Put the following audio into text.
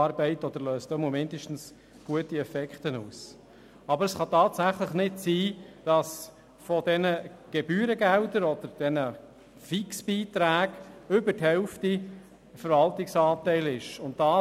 Aber es kann tatsächlich nicht sein, dass über die Hälfte dieser Gebührengelder oder Fixbeiträgen dem Verwaltungsanteil entspricht.